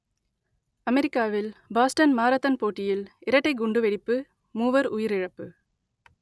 அமெரிக்காவில் Boston marathon போட்டியில் இரட்டைக் குண்டுவெடிப்பு மூவர் உயிரிழப்பு